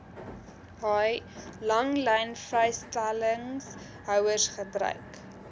haai langlynvrystellingshouers gebruik